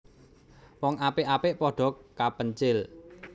Wong apik apik padha kapencil